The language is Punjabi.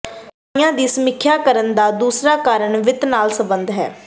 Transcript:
ਦਵਾਈਆਂ ਦੀ ਸਮੀਖਿਆ ਕਰਨ ਦਾ ਦੂਸਰਾ ਕਾਰਨ ਵਿੱਤ ਨਾਲ ਸਬੰਧਤ ਹੈ